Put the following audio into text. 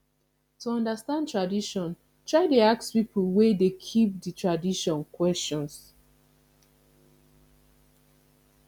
to understand tradition try de ask pipo wey de keep di tradition questions